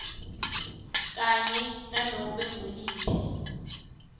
kanye nanobe nguliphi